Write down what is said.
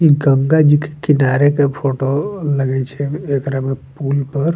इ गंगा जी के किनारे के फोटो लगे छै एकरा में पूल पर --